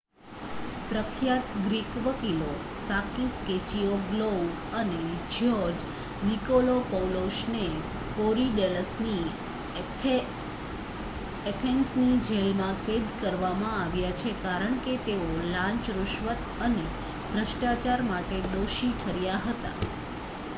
પ્રખ્યાત ગ્રીક વકીલો Sakis Kechagioglou અને જ્યોર્જ નિકોલાકોપૌલોસને કોરીડેલ્લસની એથેન્સની જેલમાં કેદ કરવામાં આવ્યા છે, કારણ કે તેઓ લાંચ: રુશવત અને ભ્રષ્ટાચાર માટે દોષી ઠર્યા હતા